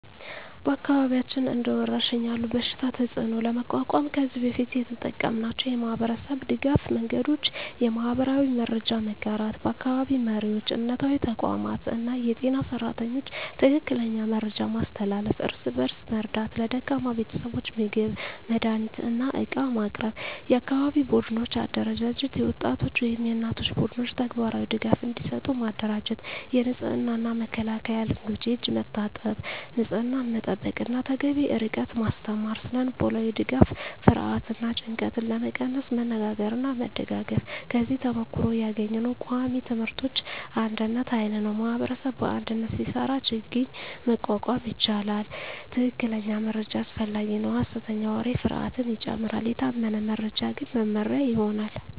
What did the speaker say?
በአካባቢያችን እንደ ወረሽኝ ያለ በሽታ ተፅዕኖ ለመቋቋም ከዚህ በፊት የተጠቀምናቸው የማህበረሰብ ድገፍ መንገዶች :- የማህበራዊ መረጃ መጋራት በአካባቢ መሪዎች፣ እምነታዊ ተቋማት እና የጤና ሰራተኞች ትክክለኛ መረጃ ማስተላለፍ። እርስ በእርስ መርዳት ለደካማ ቤተሰቦች ምግብ፣ መድሃኒት እና ዕቃ ማቅረብ። የአካባቢ ቡድኖች አደራጀት የወጣቶች ወይም የእናቶች ቡድኖች ተግባራዊ ድጋፍ እንዲሰጡ ማደራጀት። የንጽህና እና መከላከያ ልምዶች የእጅ መታጠብ፣ ንጽህና መጠበቅ እና ተገቢ ርቀት ማስተማር። ስነ-ልቦናዊ ድጋፍ ፍርሃትን እና ጭንቀትን ለመቀነስ መነጋገርና መደጋገፍ። ከዚህ ተሞክሮ ያገኘነው ቃሚ ትምህርቶች አንድነት ኃይል ነው ማኅበረሰብ በአንድነት ሲሰራ ችግኝ መቋቋም ይቻላል። ትክክለኛ መረጃ አስፈላጊ ነው ሐሰተኛ ወሬ ፍርሃትን ይጨምራል፤ የታመነ መረጃ ግን መመሪያ ይሆናል።